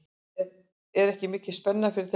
Er ekki mikil spenna fyrir þeim leik?